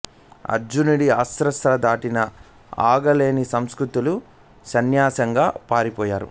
అర్జునుడి అస్త్ర శస్త్ర ధాటికి ఆగలేక సంశక్తులు ససైన్యంగా పారిపోయారు